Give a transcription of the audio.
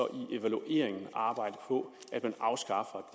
i evalueringen arbejde på at man afskaffer